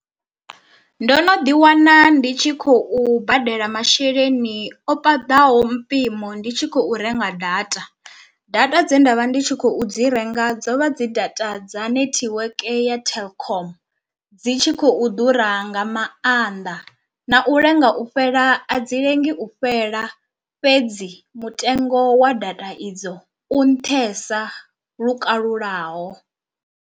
Ndo no ḓi wana ndi tshi khou badela masheleni o paḓaho mpimo ndi tshi khou renga data, data dze nda vha ndi tshi khou dzi renga dzo vha dzi data dza netiweke ya telkom, dzi tshi khou ḓura nga maanḓa na u lenga u fhela a dzi lengi u fhela fhedzi mutengo wa data idzo u nṱhesa lukalulaho.